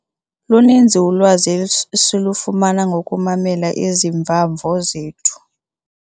Luninzi ulwazi esilufumama ngokumamela iziva-mvo zethu.